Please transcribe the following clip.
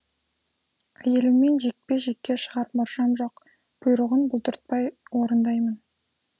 әйеліммен жекпе жекке шығар мұршам жоқ бұйрығын бұлдыртпай орындаймын